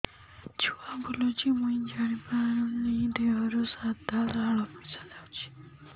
ଛୁଆ ବୁଲୁଚି ମୁଇ ଜାଣିପାରୁନି ଦେହରୁ ସାଧା ଲାଳ ମିଶା ଯାଉଚି